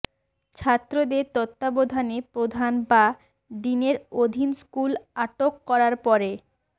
ছাত্রদের তত্ত্বাবধানে প্রধান বা ডিনের অধীন স্কুল আটক করার পরে